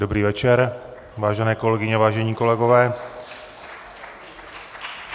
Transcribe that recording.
Dobrý večer, vážené kolegyně, vážení kolegové.